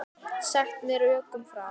Sagt með rökum frá.